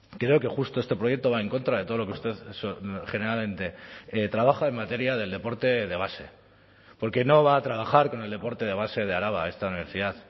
creo que justo este proyecto va en contra de todo lo que usted generalmente trabaja en materia del deporte de base porque no va a trabajar con el deporte de base de araba esta universidad